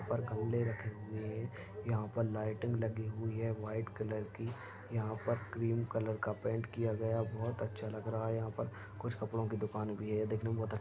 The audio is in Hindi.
यहाँ पर गमले रखे हुए है यहाँ पर लाइटिंग लगी हुई है व्हाइट कलर की यहाँ पर क्रीम कलर का पेंट किया गया है बोहोत अच्छा लग रहा है यहाँ पर कुछ कपड़ो की दुकान भी है देखने में बोहोत अच्छा लग रहा है।